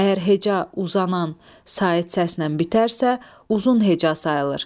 Əgər heca uzanan sait səslə bitərsə, uzun heca sayılır.